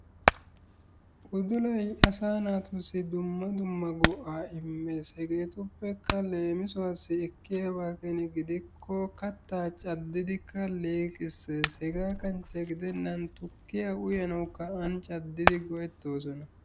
Udulayi asaa naatussi dumma dumma go"aa immes. Hegeetuppekka leemisuwassi ekkiyaba keeni gidikko kattaa caddidikka liiqisses. Hegaa kanchche gidennan tukkiya uyanawukka an caddidi go"ettoosona.